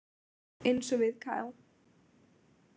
Eins og við Kyle.